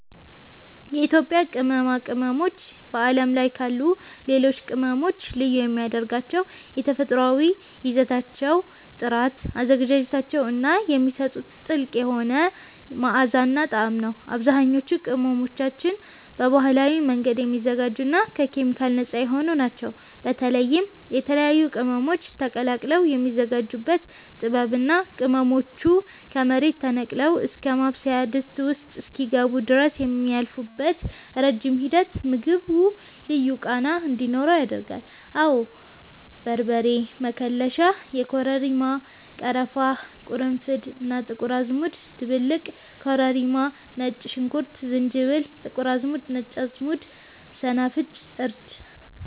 የኢትዮጵያ ቅመማ ቅመሞች በዓለም ላይ ካሉ ሌሎች ቅመሞች ልዩ የሚያደርጋቸው የተፈጥሮአዊ ይዘታቸው ጥራት፣ አዘገጃጀታቸው እና የሚሰጡት ጥልቅ የሆነ መዓዛና ጣዕም ነው። አብዛኞቹ ቅመሞቻችን በባህላዊ መንገድ የሚዘጋጁና ከኬሚካል ነፃ የሆኑ ናቸው። በተለይም የተለያዩ ቅመሞች ተቀላቅለው የሚዘጋጁበት ጥበብ እና ቅመሞቹ ከመሬት ተነቅለው እስከ ማብሰያ ድስት ውስጥ እስኪገቡ ድረስ የሚያልፉበት ረጅም ሂደት ምግቡ ልዩ ቃና እንዲኖረው ያደርጋል። አወ በርበሬ መከለሻ (የኮረሪማ፣ ቀረፋ፣ ቅርንፉድ እና ጥቁር አዝሙድ ድብልቅ) ኮረሪማ ነጭ ሽንኩርት ዝንጅብል ጥቁር አዝሙድ ነጭ አዝሙድ ሰናፍጭ እርድ